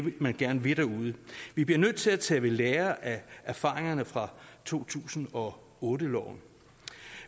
man gerne vil derude vi bliver nødt til at tage ved lære af erfaringerne fra to tusind og otte loven